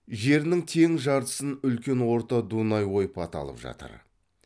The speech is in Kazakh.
жерінің тең жартысын үлкен орта дунай ойпаты алып жатыр